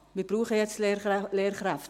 Wir brauchen jetzt Lehrkräfte;